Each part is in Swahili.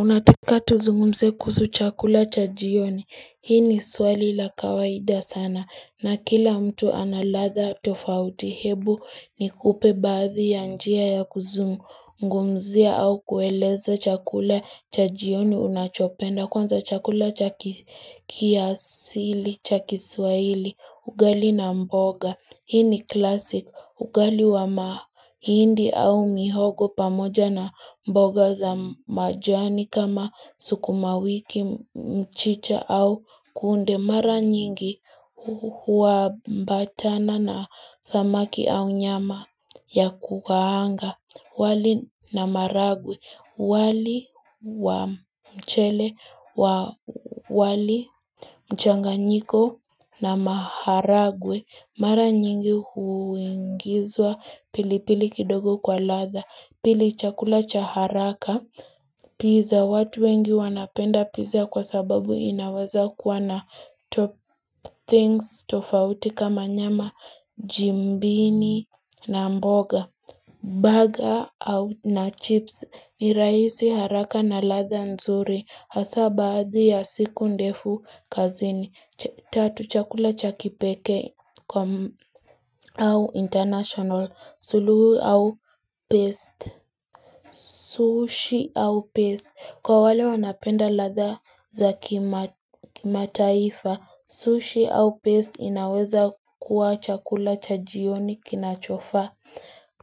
Unataka tuzungumze kuhusu chakula cha jioni. Hii ni swali la kawaida sana. Na kila mtu analadha tofauti hebu nikupe baadhi ya njia ya kuzungumzia au kueleza chakula cha jioni unachopenda. Kwanza chakula cha kiasili, cha kiswaili, ugali na mboga. Hii ni klasik ugali wa mahindi au mihogo pamoja na mboga za majani kama sukuma wiki mchicha au kunde mara nyingi waambatana na samaki au nyama ya kukaanga. Wali na maharagwe, wali wa mchele, wali mchanganyiko na maharagwe, mara nyingi huingizwa pili pili kidogo kwa ladha, pili chakula chaharaka, pizza watu wengi wanapenda pizza kwa sababu inaweza kuwa na top things tofauti kama nyama jimbini na mboga. Buggers na chips niraisi haraka na ladha nzuri hasa baadhi ya siku ndefu kazini, tatu chakula cha kipeke au international, suluhu au paste. Sushi au paste, kwa wale wanapenda ladha za kimataifa, sushi au paste inaweza kuwa chakula cha jioni kinachofa.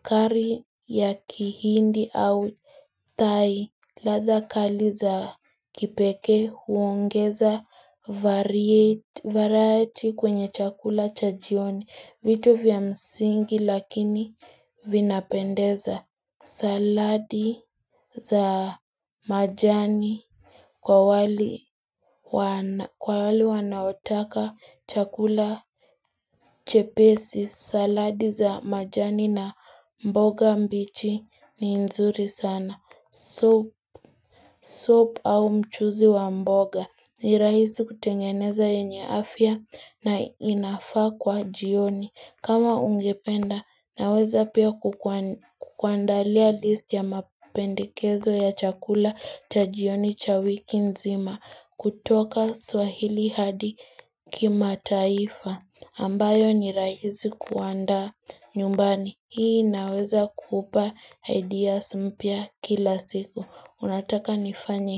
Kari ya kihindi au thai ladha kali za kipeke huongeza variety kwenye chakula chajioni vitu vya msingi lakini vinapendeza saladi za majani Kwa wali wanaotaka chakula chepesi, saladi za majani na mboga mbichi ni nzuri sana. Supu au mchuzi wa mboga ni raisi kutengeneza yenye afya na inafaa kwa jioni. Kama ungependa naweza pia kukuandalia list ya mapendekezo ya chakula chajioni chawiki nzima kutoka swahili hadi kimataifa ambayo nirahisi kuaanda nyumbani. Hii inaweza kupa ideas mpya kila siku. Unataka nifanye.